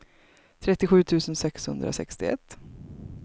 trettiosju tusen sexhundrasextioett